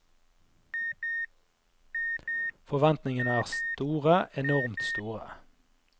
Forventningene er store, enormt store.